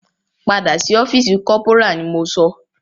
Padà sí ọ́fìsì corporal ni mo sọ!